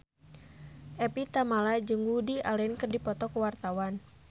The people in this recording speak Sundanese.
Evie Tamala jeung Woody Allen keur dipoto ku wartawan